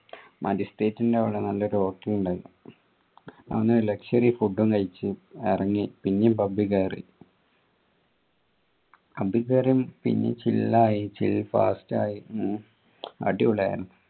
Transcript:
മജിസ്ട്രേറ്റിന്റെ അവിടെ നല്ലൊരു hotel ഉണ്ട് അവിടുന്ന് luxury food കഴിച്ച് ഇറങ്ങി പിന്നെയും pub കയറി pub കേറി പിന്നേം chill ആയി chill ആയി അടിപൊളിയായി